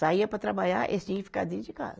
Saía para trabalhar eles tinha que ficar dentro de casa.